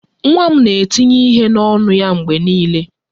Nwa m na-etinye ihe n'ọnụ ya mgbe niile